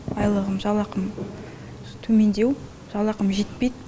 айлығым жалақым төмендеу жалақым жетпейді